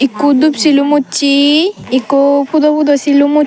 ikko dup silum ussey ikko pudo pudo silum ush.